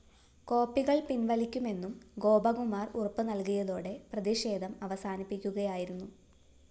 കോപ്പികള്‍ പിന്‍വലിക്കുമെന്നും ഗോപകുമാര്‍ ഉറപ്പ് നല്‍കിയതോടെ പ്രതിഷേധം അവസാനിപ്പിക്കുകയായിരുന്നു